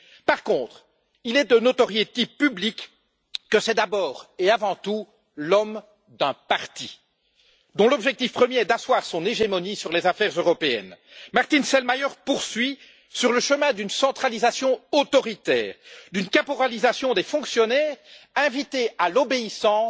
Par contre, il est de notoriété publique que c'est d'abord et avant tout l'homme d'un parti, dont l'objectif premier est d'asseoir son hégémonie sur les affaires européennes. Martin Selmayr poursuit sur le chemin d'une centralisation autoritaire, d'une caporalisation des fonctionnaires, invités à l'obéissance,